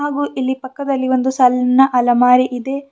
ಹಾಗೂ ಇಲ್ಲಿ ಪಕ್ಕದಲ್ಲಿ ಒಂದು ಸಣ್ಣ ಅಲಮಾರಿ ಇದೆ.